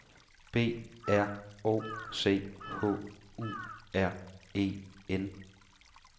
B R O C H U R E N